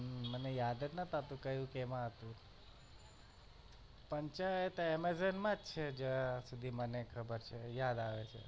હમ મને યાદ જ નહતું કે કયુ કેમાં હતું પંચાયત amazon માં જ છે જ્યાં સુધી મને ખબર છે યાદ આવે છે.